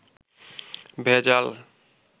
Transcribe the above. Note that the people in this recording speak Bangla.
ভেজাল